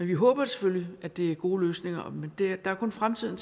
vi håber selvfølgelig at det er gode løsninger men det kan kun fremtiden